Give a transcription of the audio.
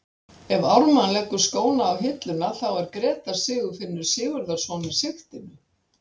Ef Ármann leggur skóna á hilluna þá er Grétar Sigfinnur Sigurðarson í sigtinu.